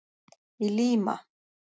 Í Lima